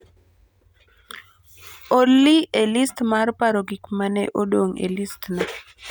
Olly e listna mar paro gik ma ne odong e listna